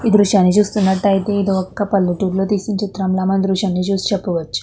ఈ దృశ్యాన్ని చూసినట్లయితే ఇది ఒక పల్లెటూరిలో తీసిన దృశ్యంలో చూసి చెప్పవచ్చు.